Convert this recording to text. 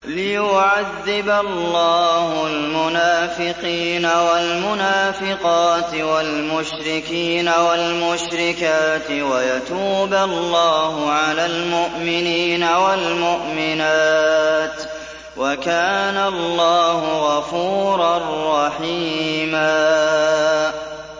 لِّيُعَذِّبَ اللَّهُ الْمُنَافِقِينَ وَالْمُنَافِقَاتِ وَالْمُشْرِكِينَ وَالْمُشْرِكَاتِ وَيَتُوبَ اللَّهُ عَلَى الْمُؤْمِنِينَ وَالْمُؤْمِنَاتِ ۗ وَكَانَ اللَّهُ غَفُورًا رَّحِيمًا